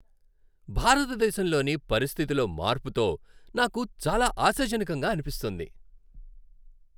భారతదేశంలోని పరిస్థితిలో మార్పుతో నాకు చాలా ఆశాజనకంగా అనిపిస్తోంది.